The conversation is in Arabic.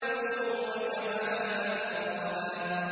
وَكَوَاعِبَ أَتْرَابًا